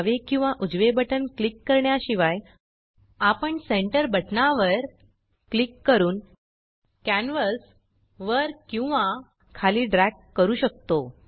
डावे किंवा उजवे बटन क्लिक करण्याशिवाय आपण सेंटर बटनावर क्लिक करून कॅन्वस वर किंवा खाली ड्रग करू शकतो